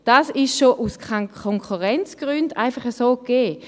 Das ist schon aus Konkurrenzgründen einfach so gegeben.